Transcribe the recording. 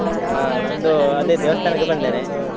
ಹಾ ನಂದು ಅದೇ ದೇವಸ್ಥಾನಕ್ಕೆ ಬಂದಿದ್ದೇನೆ.